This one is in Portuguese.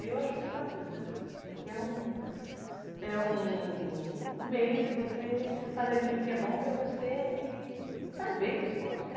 Eu acho muito bacana, porque é um, é um meio de você fazer aquilo que é bom para você e faz bem o esporte,